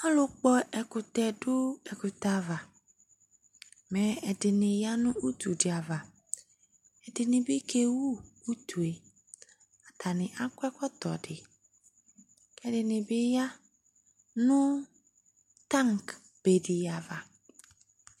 alo kpɔ ɛkutɛ do ɛkutɛ ava mɛ ɛdini ya no utu di ava ɛdini bi kewu utue atani akɔ ɛkɔtɔ di k'ɛdini bi ya no tank be di ava